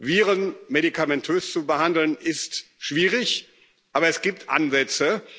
behandelt. Viren medikamentös zu behandeln, ist schwierig, aber es gibt